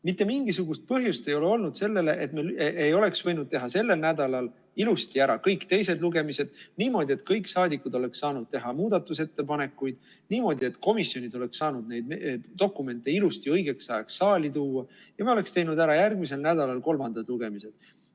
Mitte mingisugust põhjust ei ole olnud selleks, et me ei oleks võinud teha sellel nädalal ilusti ära kõik teised lugemised, niimoodi, et kõik saadikud oleksid saanud teha muudatusettepanekuid, niimoodi, et komisjonid oleksid saanud neid dokumente ilusti õigeks ajaks saali tuua, ja me oleksime teinud ära järgmisel nädalal kolmandad lugemised.